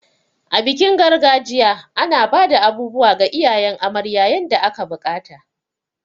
A bikin gargajiya, ana bada abubuwa ga iyayen amarya yanda aka bukata.